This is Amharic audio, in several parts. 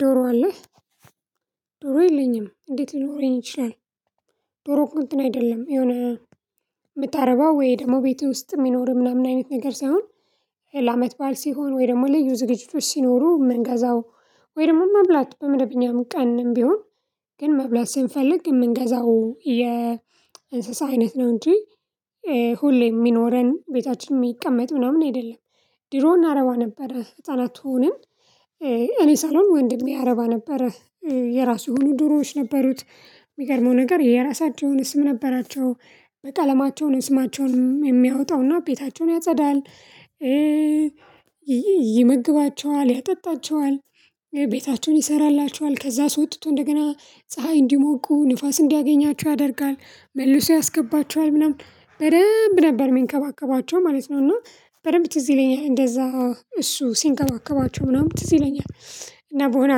ዶሮ አለህ? ዶሮ የለኝም እንዴት ሊኖረኝ ይችላል? ዶሮ እኮ እንትን አይደለም የሆነ የምታረባው ወይ ደግሞ ቤትህ ውስጥ የሚኖር ምናምን አይነት ነገር ሳይሆን ለአመት ባል ሲሆን ወይ ደግሞ ልዩ ዝግጅቶች ሲኖሩ የምንገዛው ወይ ደግሞ መብላት በመደበኛም ቀንም ቢሆን ግን መብላት ስንፈልግ የምንገዛው የእንስሳ አይነት ነው እንጂ ሁሌ የሚኖረን ቤታችን የሚቀመጥ ምናምን አይደለም። ድሮ እናረባ ነበረ ህፃናት ሆነን። እኔ ሳልሆን ወንድሜ ያረባ ነበረ። የራሱ የሆኑ ዶሮዎች ነበሩት። የሚገርመው ነገር የራሳቸው የሆነ ስም ነበራቸው በቀለማቸው ነው ስማቸውን የሚያወጣውና ቤታቸውን ያጸዳል። ይመግባቸዋል ያጠጣቸዋል። ቤታቸውን ይሰራላቸዋል ከዛ አስወጥቶ እንደገና ፀሀይ እንዲሞቁ ንፋስ እንዲያገኛቸው ያደርጋል መልሶ ያስገባቸዋል ምናምን በደንብ ነበር የሚንከባከባቸው ማለት ነው። እና በደንብ ትዝ ይለኛል እንደዛ እሱ ሲንከባከባቸው ምናምን ትዝ ይለኛል። እና በሆነ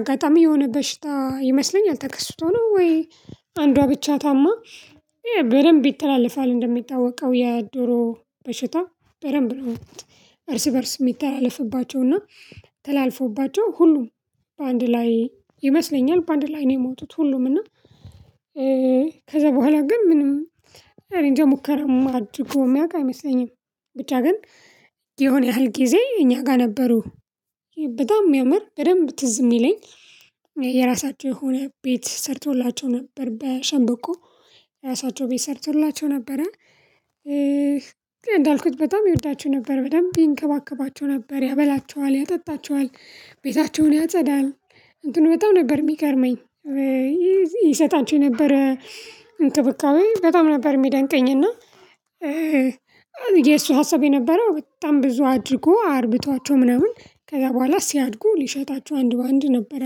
አጋጣሚ የሆነ በሽታ ይመስለኛል ተከስቶ ነው ወይ አንዷ ብቻ ታማ። በደንብ ይተላለፋል እንደሚታወቀው የዶሮ በሽታ። በደንብ እርስ በእርስ የሚተላለፍባቸው እና ተላልፎባቸው ሁሉም በአንድ ላይ ይመስለኛል በአንድ ላይ ነው የሞቱት ሁሉምና እ ከዛ በኋላ ግን ምንም እኔንጃ ሙከራም አድርጎ የሚያውቅ አይመስለኝም። ብቻ ግን የሆነ ያህል ጊዜ እኛ ጋር ነበሩ። በጣም የሚያምር በደንብ ትዝ የሚለኝ። የራሳቸው የሆነ ቤት ሰርቶላቸው ነበር በሸምብቆ የራሳቸው ቤት ሰርቶላቸው ነበረ። እንዳልኩት በጣም ይወዳቸው ነበር በደንብ ይንከባከባቸው ነበር ያበላቸዋል ያጠጣቸዋል ቤታቸውን ያጸዳል። እንትኑ በጣም ነበር የሚገርመኝ። ይሰጣቸው የነበረ እንክብካቤ በጣም ነበር የሚያደንቀኝ እና። የሱ ሀሳብ የነበረው በጣም ብዙ አድርጎ አርብቷቸው ምናምን ከዛ በኋላ ሲያድጉ ሊሸጣቸው አንድ በአንድ ነበር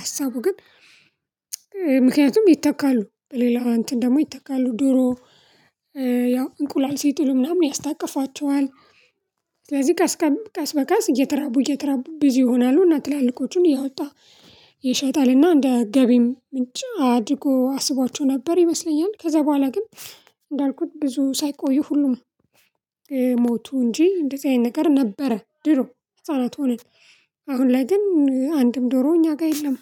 ሀሳቡ ግን። ምክንያቱም ይተካሉ በሌላ እንትን ደግሞ ይተካሉ ዶሮ። ያው እንቁላል ሲጥሉ ምናምን ያስታቅፋቸዋል። ስለዚህ ቀስ ቀስ በቀስ እየተራቡ እየተራቡ ብዙ ይሆናሉ እና ትላልቆቹን እያወጣ ይሸጣል። እና እንደ ገቢም ምንጭ አድርጎ አስቧቸው ነበር ይመስለኛል ከዛ በኋላ ግን። እንዳልኩት ብዙ ሳይቆይ ሁሉም ሞቱ እንጂ እንደዚህ አይነት ነገር ነበረ ድሮ ህፃናት ሆነን። አሁን ላይ ግን አንድም ዶሮ እኛ ጋር የለም።